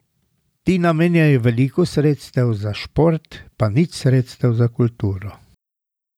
Ti namenjajo veliko sredstev za šport pa nič sredstev za kulturo.